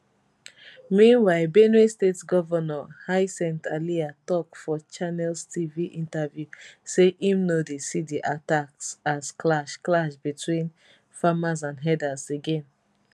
meanwhile benue state governor hycinth alia tok for channels tv interview say im no dey see di attacks as clash clash between farmers and herders again